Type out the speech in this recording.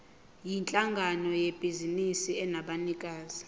yinhlangano yebhizinisi enabanikazi